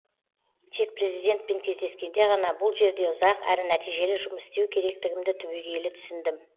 тек президентпен кездескенде ғана бұл жерде ұзақ әрі нәтижелі жұмыс істеу керектігімді түбегейлі түсіндім